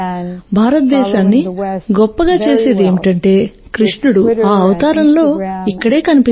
భారతదేశాన్ని గొప్పగా చేసేది ఏమిటంటే కృష్ణుడు ఆ అవతారంలో ఇక్కడ కనిపించాడు